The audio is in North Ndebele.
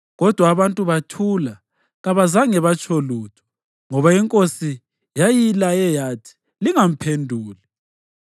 Kodwa abantu bathula kabazange batsho lutho, ngoba inkosi yayilaye yathi, “Lingamphenduli.”